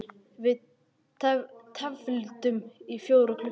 Við tefldum í fjóra klukkutíma!